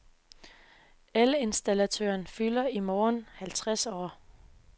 Elinstallatøren fylder i morgen halvtreds år.